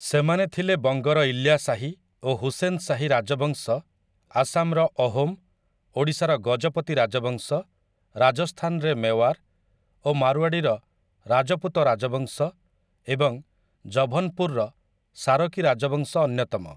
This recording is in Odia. ସେମାନେ ଥିଲେ ବଙ୍ଗର ଇଲ୍ୟାଶାହୀ ଓ ହୁସେନ୍ ଶାହି ରାଜବଂଶ ଆସାମର ଅହୋମ, ଓଡ଼ିଶାର ଗଜପତି ରାଜବଂଶ ରାଜସ୍ଥାନରେ ମେୱାର, ଓ ମାରୱାଡ଼ିର ରାଜପୁତ ରାଜବଂଶ ଏବଂ ଜଭନପୁରର ସାରକୀ ରାଜବଂଶ ଅନ୍ୟତମ ।